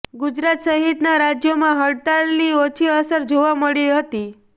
ગુજરાત સહિતના રાજ્યોમાં હડતાળની ઓછી અસર જોવા મળી હતી